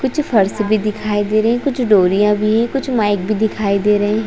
कुछ फर्श भी दिखाई दे रहे है कुछ डोरियां भी है कुछ माइक भी दिखाई दे रहे है।